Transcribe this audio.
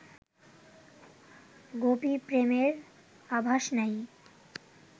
গোপী প্রেমের আভাষ নাই